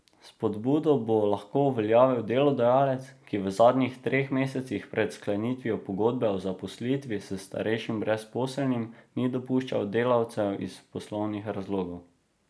Spodbudo bo lahko uveljavil delodajalec, ki v zadnjih treh mesecih pred sklenitvijo pogodbe o zaposlitvi s starejšim brezposelnim ni odpuščal delavcev iz poslovnih razlogov.